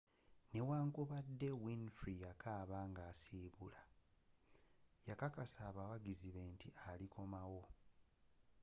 newankubadde winfrey yakaaba nga asibula yakakasa abawagizi be nti alikoma wo